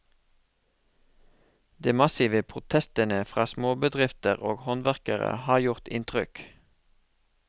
De massive protestene fra småbedrifter og håndverkere har gjort inntrykk.